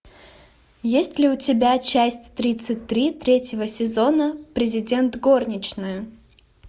есть ли у тебя часть тридцать три третьего сезона президент горничная